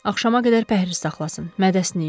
Axşama qədər pəhriz saxlasın, mədəsini yuyun.